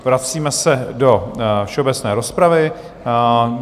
Vracíme se do všeobecné rozpravy.